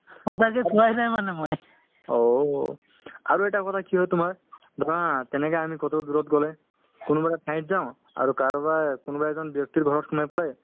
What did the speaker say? হয় হয় আৰু তাৰপিছত মই কি এটা কথা ভাবো যে মানুহে আপোনাৰ অ মাই উম monthly বা আপোনাৰ ছমাহত বা প্ৰত্যেক মাহত